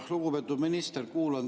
Lugupeetud minister!